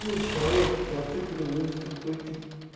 ну человек то ты говорю это какой ты